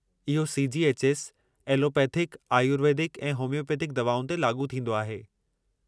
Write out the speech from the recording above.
इहो C. G. H. S. Allopathic, ayurvedic ऐं homeopathic दवाउनि ते लाॻू थींदो आहे।